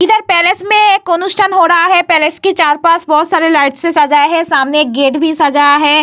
इधर पैलेस में एक अनुष्ठान हो रहा है | पैलेस के चार पांच बहुत सारे लाइट से सजा है | सामने एक गेट भी सजाया है।